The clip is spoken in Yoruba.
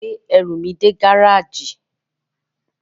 Bá mi gbé ẹrù mi dé gáràjì.